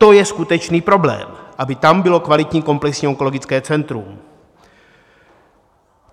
To je skutečný problém, aby tam bylo kvalitní komplexní onkologické centrum.